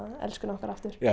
elskuna okkar aftur já að